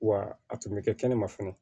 Wa a tun bɛ kɛ kɛnɛ ma fana